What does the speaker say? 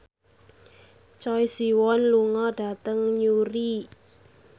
Choi Siwon lunga dhateng Newry